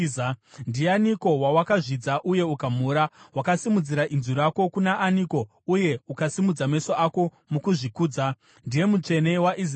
Ndianiko wawakazvidza uye ukamhura? Wakasimudzira inzwi rako kuna aniko uye ukasimudza meso ako mukuzvikudza? Ndiye Mutsvene waIsraeri!